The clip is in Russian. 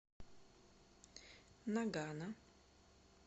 нагано